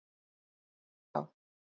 Er það já?